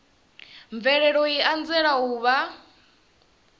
mvelelo i anzela u vha